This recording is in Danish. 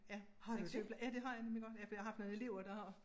Ja en syge ja det har jeg nemlig godt ja for jeg har haft nogle elever der har